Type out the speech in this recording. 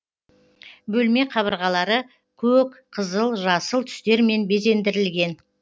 бөлме қабырғалары көк қызыл жасыл түстермен безендірілген